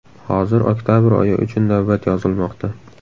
Hozir oktabr oyi uchun navbat yozilmoqda.